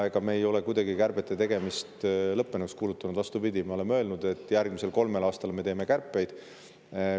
Ega me ei ole kärbete tegemist lõppenuks kuulutanud, vastupidi, me oleme öelnud, et järgmisel kolmel aastal me teeme kärpeid edasi.